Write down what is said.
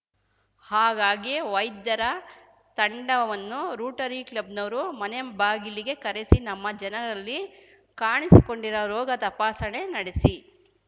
ಹಾಗಾಗಿ ವೈದ್ಯರ ತಂಡವನ್ನು ರೂಟರಿ ಕ್ಲಬ್‌ನವರು ಮನೆಬಾಗಿಲಿಗೆ ಕರೆಸಿ ನಮ್ಮ ಜನರಲ್ಲಿ ಕಾಣಿಸಿಕೊಂಡಿರುವ ರೋಗ ತಪಾಸಣೆ ನಡೆಸಿ